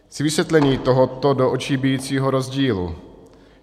Chci vysvětlení tohoto do očí bijícího rozdílu.